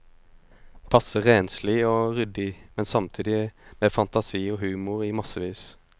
Passe renslig og ryddig, men samtidig med fantasi og humor i massevis.